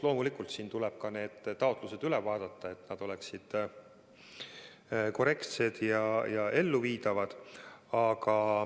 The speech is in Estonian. Loomulikult tuleb ka taotlused üle vaadata, et need oleksid korrektsed ja elluviidavad.